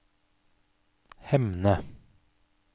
Hemne